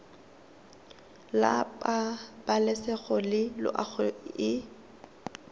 la pabalesego le loago e